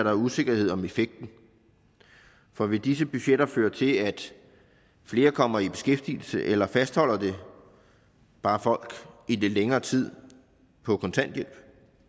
er usikkerhed om effekten for vil disse budgetter føre til at flere kommer i beskæftigelse eller fastholder det bare folk i lidt længere tid på kontanthjælp